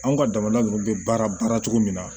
Anw ka jamana ninnu bɛ baara baara cogo min na